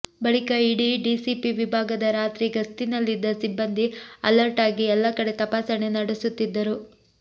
ಬಳಿಕ ಇಡೀ ಡಿಸಿಪಿ ವಿಭಾಗದ ರಾತ್ರಿ ಗಸ್ತಿನಲ್ಲಿದ್ದ ಸಿಬ್ಬಂದಿ ಅಲರ್ಟ್ ಆಗಿ ಎಲ್ಲಾ ಕಡೆ ತಪಾಸಣೆ ನಡೆಸುತ್ತಿದ್ದರು